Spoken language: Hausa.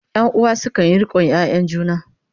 ƴan uwa sukanyi riƙon ƴaƴan juna